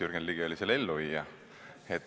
Jürgen Ligi oli selle elluviija.